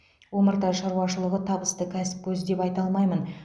омарта шаруашылығы табысты кәсіп көзі деп айта аламын